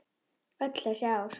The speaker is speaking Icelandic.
Öll þessi ár.